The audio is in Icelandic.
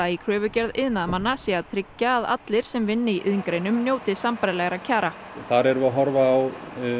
í kröfugerð iðnaðarmanna sé að tryggja að allir sem vinni í iðngreinum njóti sambærilegra kjara þar erum við að horfa á